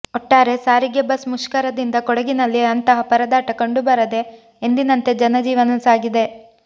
ಒಟ್ಟಾರೆ ಸಾರಿಗೆ ಬಸ್ ಮುಷ್ಕರದಿಂದ ಕೊಡಗಿನಲ್ಲಿ ಅಂತಹ ಪರದಾಟ ಕಂಡು ಬರದೆ ಎಂದಿನಂತೆ ಜನಜೀವನ ಸಾಗಿದೆ